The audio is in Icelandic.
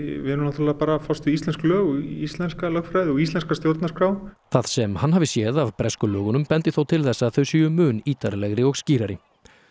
við erum náttúrulega bara að fást við íslensk lög og íslenska lögfræði og íslenska stjórnarskrá það sem hann hafi séð af bresku lögunum bendi þó til þess að þau séu mun ítarlegri og skýrari